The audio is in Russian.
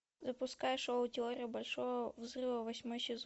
запускай шоу теория большого взрыва восьмой сезон